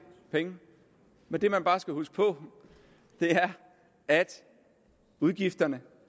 penge men det man bare skal huske på er at udgifterne